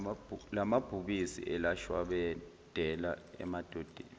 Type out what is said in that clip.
lamabhubesi elashwabadela amadodana